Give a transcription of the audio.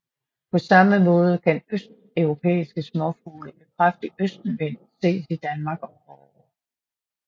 På samme måde kan østeuropæiske småfugle ved kraftig østenvind ses i Danmark om foråret